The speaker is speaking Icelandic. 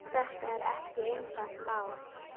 Þetta er ekki einfalt mál.